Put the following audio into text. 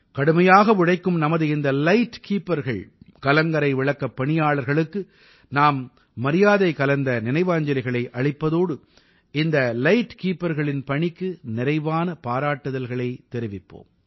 கடுமையாக உழைக்கும் நமது இந்த லைட் keeperகள் கலங்கரை விளக்கப் பணியாளர்களுக்கு நாம் மரியாதை கலந்த நினைவாஞ்சலிகளை அளிப்பதோடு இந்த லைட் keeperகளின் பணிக்கு நிறைவான பாராட்டுதல்களையும் தெரிவிப்போம்